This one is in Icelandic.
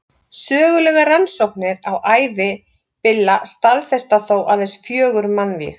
sögulegar rannsóknir á ævi billa staðfesta þó aðeins fjögur mannvíg